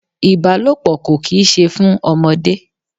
Ìbálòpọ̀ kò kì í ṣe fún ọmọdé.